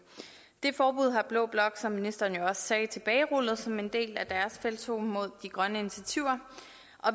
det forbud har blå blok som ministeren også sagde tilbagerullet som en del af deres felttog mod de grønne initiativer